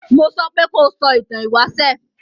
Mo sopé kó sọ ìtan ìwáṣẹ̀!